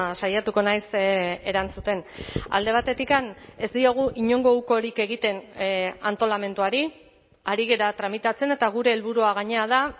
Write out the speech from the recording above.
saiatuko naiz erantzuten alde batetik ez diogu inongo ukorik egiten antolamenduari ari gara tramitatzen eta gure helburua gainera da